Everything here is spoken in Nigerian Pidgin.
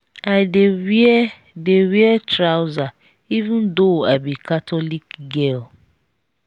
i dey wear dey wear trouser even though i be catholic girl.